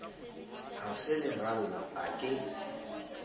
ha se leralla a ke